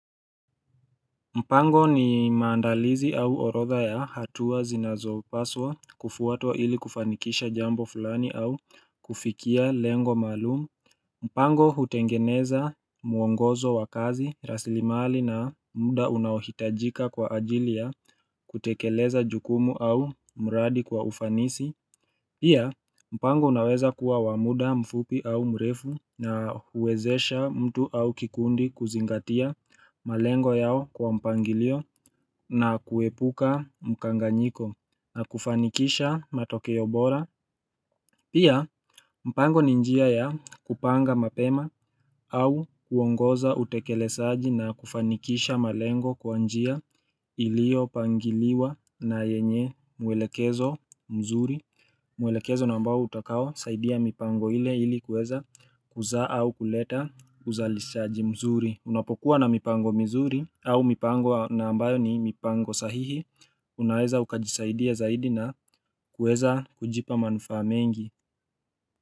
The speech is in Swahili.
Mpango ni maandalizi au orodha ya hatua zinazopaswa kufuatwa ili kufanikisha jambo fulani au kufikia lengo maalumu. Mpango hutengeneza mwongozo wa kazi raslimali na muda unaohitajika kwa ajili ya kutekeleza jukumu au mradi kwa ufanisi. Pia mpango unaweza kuwa wa muda mfupi au mrefu na huwezesha mtu au kikundi kuzingatia malengo yao kwa mpangilio na kuepuka mkanganyiko na kufanikisha matokeo bora. Pia mpango ninjia ya kupanga mapema au kuongoza utekelezaji na kufanikisha malengo kwa njia ilio pangiliwa na yenye mwelekezo mzuri. Mwelekezo ni ambao utakao saidia mipango ile ilikuweza kuzaa au kuleta uzalishaji mzuri. Unapokuwa na mipango mizuri au mipango ni ambayo ni mipango sahihi. Unaweza ukajisaidia zaidi na kuweza kujipa manufaa mengi.